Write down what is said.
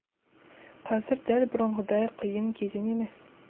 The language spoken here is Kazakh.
қазір дәл бұрынғыдай қиын кезең емес